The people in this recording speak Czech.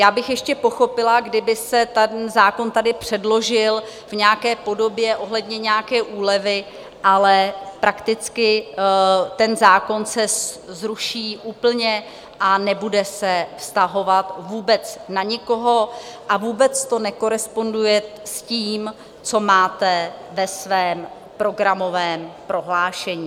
Já bych ještě pochopila, kdyby se ten zákon tady předložil v nějaké podobě ohledně nějaké úlevy, ale prakticky ten zákon se zruší úplně a nebude se vztahovat vůbec na nikoho a vůbec to nekoresponduje s tím, co máte ve svém programovém prohlášení.